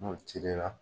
N'o cili la